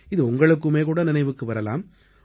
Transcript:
இது உங்களுக்குமேகூட நினைவுக்கு வரலாம்